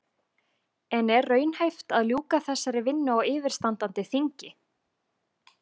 En er raunhæft að ljúka þessari vinnu á yfirstandandi þingi?